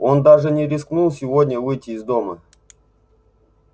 он даже не рискнул сегодня выйти из дома